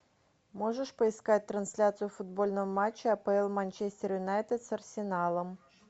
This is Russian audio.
можешь поискать трансляцию футбольного матча апл манчестер юнайтед с арсеналом